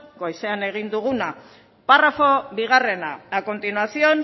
goizean egin duguna parrafo bigarrena a continuación